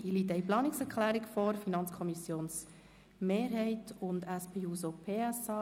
Es liegt eine Planungserklärung der FiKo-Mehrheit und der SP-JUSO-PSA-Fraktion vor.